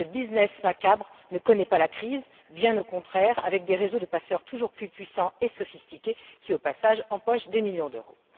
Ce business macabre ne connaît pas la crise, bien au contraire, avec des réseaux de passeurs toujours plus puissants et sophistiqués qui au passage empochent des millions d'euros.